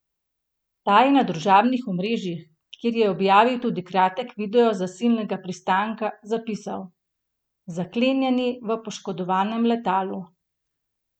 Ta je na družbenih omrežjih, kjer je objavil tudi kratek video zasilnega pristanka, zapisal: ''Zaklenjeni v poškodovanem letalu.